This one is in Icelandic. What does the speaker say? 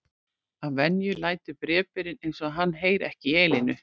Að venju lætur bréfberinn eins og hann heyri ekki í Elínu.